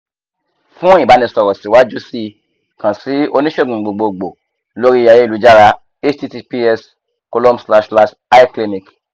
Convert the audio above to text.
fun ibanisoro siwajusi kan si onisegun gbogbogbo lori ayelujara https://icliniq